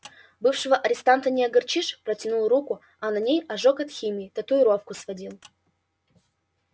бывшего арестанта не огорчишь протянул руку а на ней ожог от химии татуировку сводил